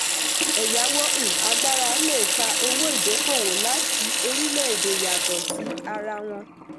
ẹ̀yàwó um agbára le fa owó ìdókòwò láti orílẹ̀-èdè yàtọ̀ sí ara wọn.